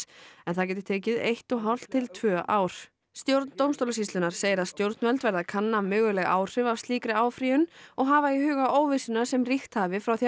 en það gæti tekið eitt og hálft til tvö ár stjórn dómstólasýslunnar segir að stjórnvöld verði að kanna möguleg áhrif af slíkri áfrýjun og hafa í huga óvissuna sem ríkt hafi frá því